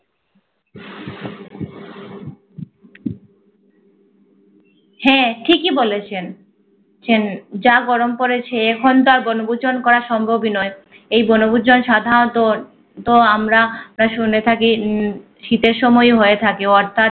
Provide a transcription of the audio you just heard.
হ্যা ঠিকি বলেছেন ছেন যা গরম পরেছে এখন তা বনভূজন করা সম্ভব নয়। এই বনভূজন সাধাণত তো আমরা শুনে থাকি উম শীতে সময় হয়ে থাকে। অথাত